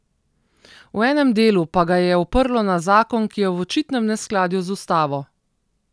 V enem delu pa ga je oprlo na zakon, ki je v očitnem neskladju z Ustavo.